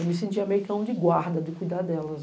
Eu me sentia meio cão de guarda, de cuidar delas.